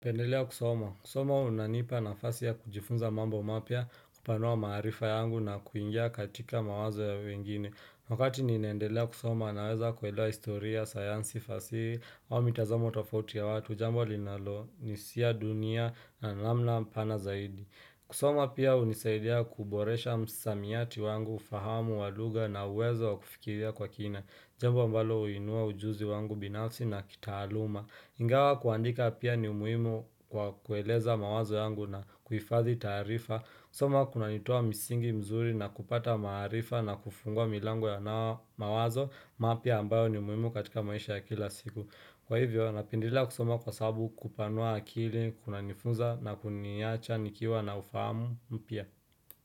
Pendelea kusoma. Kusoma unanipa nafasi ya kujifunza mambo mapya kupanua maarifa yangu na kuingia katika mawazo ya wengine. Wakati ninaedelea kusoma naweza kuelewa historia, sayansi, fasihi ama mitazamo tofauti ya watu. Jambo linalonisia dunia na namna pana zaidi. Kusoma pia hunisaidia kuboresha msamiati wangu, ufahamu wa lugha na uwezo wa kufikiria kwa kina. Jambo ambalo huinua ujuzi wangu binafsi na kitaaluma. Ingawa kuandika pia ni muhimu kwa kueleza mawazo yangu na kufadhi taarifa, kusoma kunanitoa misingi mzuri na kupata maarifa na kufungua milango ya nao mawazo mapya ambayo ni muhimu katika maisha ya kila siku Kwa hivyo, napendelea kusoma kwa sabu kupanua akili, kunanifuza na kuniacha, nikiwa na ufamu mpya.